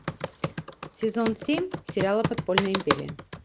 сезон семь сериала подпольная империя